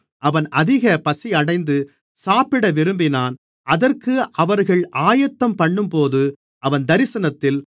அவன் அதிக பசியடைந்து சாப்பிட விரும்பினான் அதற்கு அவர்கள் ஆயத்தம்பண்ணும்போது அவன் தரிசனத்தில்